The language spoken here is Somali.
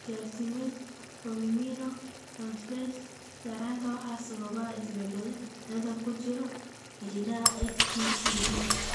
Glutamate formiminotransferase yaraanta waxaa sababa isbeddellada ku jira hiddaha FTCD.